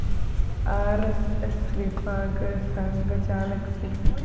R S S വിഭാഗ് സംഘചാലക് C